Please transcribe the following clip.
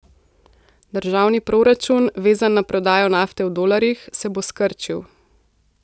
Državni proračun, vezan na prodajo nafte v dolarjih, se bo skrčil.